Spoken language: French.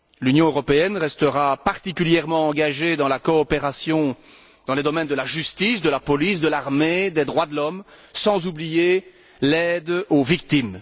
L'Union européenne restera particulièrement engagée dans la coopération dans les domaines de la justice, de la police, de l'armée, des droits de l'homme, sans oublier l'aide aux victimes.